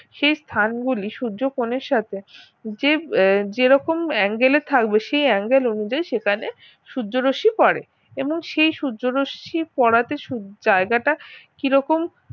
সেই স্থানগুলি সূর্য কোন এর সাথে যে~ যেরকম angel এ থাকবে সেই angel অনুযায়ী সেখানে সূর্য রশ্মি পড়ে এবং সেই সূর্য রশ্মি পড়াতে জায়গাটা কিরকম